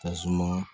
Kasuma